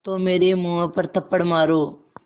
तो मेरे मुँह पर थप्पड़ मारो